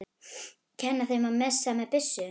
Kenni þeim að messa með byssu?